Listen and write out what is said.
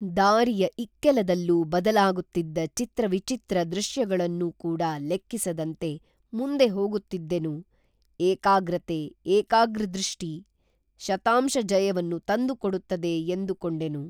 ದಾರಿಯ ಇಕ್ಕೆಲದಲ್ಲೂ ಬದಲಾಗುತ್ತಿದ್ದ ಚಿತ್ರವಿಚಿತ್ರ ದೃಶ್ಯಗಳನ್ನು ಕೂಡಾ ಲೆಕ್ಕಿಸದಂತೆ ಮುಂದೆ ಹೋಗುತ್ತಿದ್ದೆನು ಏಕಾಗ್ರತೆ ಏಕಾಗ್ರದೃಷ್ಟಿ ಶತಾಂಶ ಜಯವನ್ನು ತಂದುಕೊಡುತ್ತದೆ ಎಂದು ಕೊಂಡೆನು